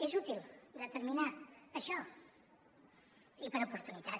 és útil determinar això i per oportunitat